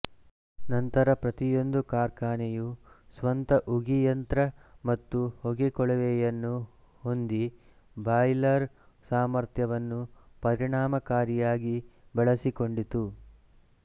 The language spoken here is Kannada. ನಂತರ ಪ್ರತಿಯೊಂದು ಕಾರ್ಖಾನೆಯು ಸ್ವಂತ ಉಗಿ ಯಂತ್ರ ಮತ್ತು ಹೊಗೆಕೊಳವೆಯನ್ನು ಹೊಂದಿಬಾಯ್ಲರ್ ಸಾಮರ್ಥ್ಯವನ್ನು ಪರಿಣಾಮಕಾರಿಯಾಗಿ ಬಳಸಿಕೊಂಡಿತು